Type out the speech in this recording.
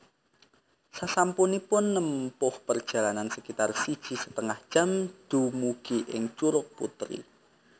Sasampunipun nempuh perjalanan sakitar siji setengah jam dumugi ing Curug Putri